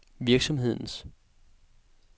virksomhedens